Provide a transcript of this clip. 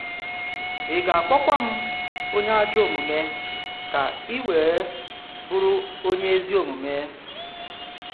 Ị̀ ga-akpọ̀kwa m onye ajọ omume ka i wee bụrụ onye ezi omume?